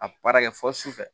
A baara kɛ fɔ su fɛ